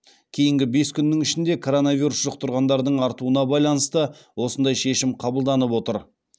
кейінгі бес күннің ішінде коронавирус жұқтырғандардың артуына байланысты осындай шешім қабылданып отыр